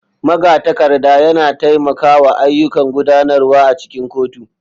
Magatakarda yana taimakawa a ayyukan gudanarwa a cikin kotu.